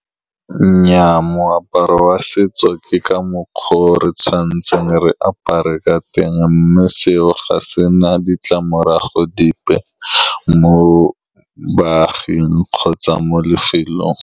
Nnyaa, moaparo wa setso ke ka mokgwa o re tshwanetseng re apare ka teng, mme seo ga se na ditlamorago dipe mo baaging kgotsa mo lefelong.